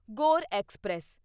ਗੌਰ ਐਕਸਪ੍ਰੈਸ